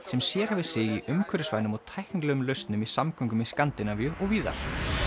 sem sérhæfir sig í umhverfisvænum og tæknilegum lausnum í samgöngum í Skandinavíu og víðar